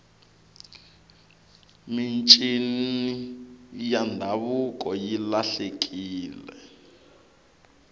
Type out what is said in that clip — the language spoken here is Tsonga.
mincini ya ndhavuko yi lahlekile